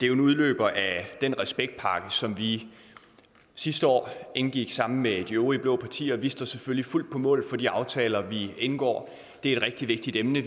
jo en udløber af den respektpakke som vi sidste år indgik sammen med de øvrige blå partier og vi står selvfølgelig fuldt på mål for de aftaler vi indgår det er et rigtig vigtigt emne